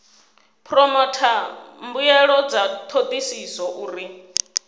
phoromotha mbuelo dza thodisiso uri